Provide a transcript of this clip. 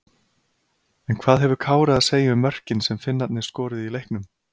En hvað hefur Kári að segja um mörkin sem Finnarnir skoruðu í leiknum?